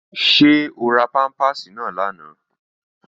Ṣé o ra pámpàsì náà lánàá?